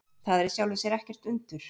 Það er í sjálfu sér ekkert undur.